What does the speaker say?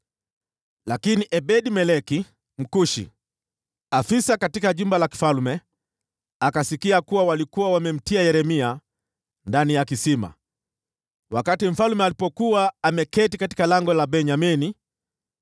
Lakini Ebed-Meleki Mkushi, aliyekuwa afisa katika jumba la kifalme, akasikia kuwa walikuwa wamemtia Yeremia ndani ya kisima. Wakati mfalme alipokuwa ameketi katika Lango la Benyamini,